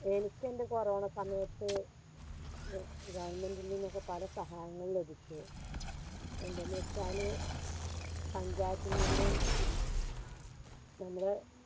എനിക്കെൻറെ corona സമയത്ത് ഗ Government ൽ നിന്നൊക്കെ പല സഹായങ്ങളും ലഭിച്ചു എന്തെന്ന് വെച്ചാല് പഞ്ചായത്തിൽ നിന്നും നമ്മുടെ